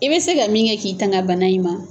I bɛ se ka min kɛ k'i tanga bana in ma.